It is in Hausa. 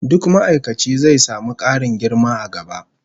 Duk ma'aikaci zai samu karin girma a gaba